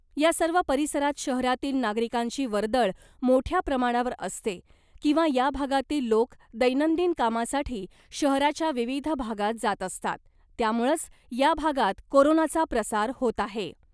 या सर्व परिसरात शहरातील नागरिकांची वर्दळ मोठ्या प्रमाणावर असते किंवा या भागातील लोक दैनंदिन कामासाठी शहराच्या विविध भागात जात असतात , त्यामुळंच या भागात कोरोनाचा प्रसार होत आहे .